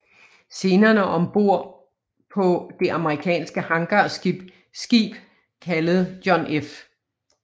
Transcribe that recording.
Scenerne ombord på det amerikanske hangarskib kaldet John F